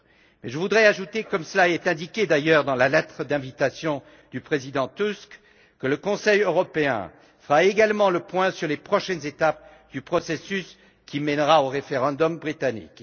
Mais je voudrais ajouter, comme l'indique d'ailleurs la lettre d'invitation du président Tusk, que le Conseil européen fera également le point sur les prochaines étapes du processus qui mènera au référendum britannique.